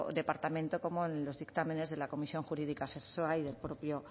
departamento como en los dictámenes de la comisión jurídica asesora y del propio